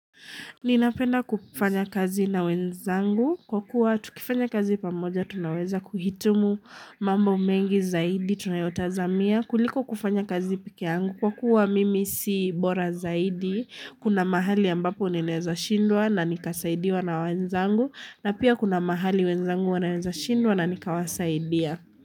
Ninapenda kufanya kazi na wenzangu kwa kuwa tukifanya kazi pamoja tunaweza kuhitumu mambo mengi zaidi tunayotazamia kuliko kufanya kazi pekee yangu kwa kuwa mimi si bora zaidi kuna mahali ambapo ninaweza shindwa na nikasaidiwa na wenzangu na pia kuna mahali wenzangu wananweza shindwa na nikawasaidia.